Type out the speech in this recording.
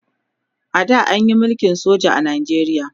a da anyi mulkin soja a Najeriya